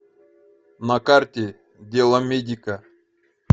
на карте деломедика